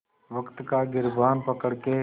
वक़्त का गिरबान पकड़ के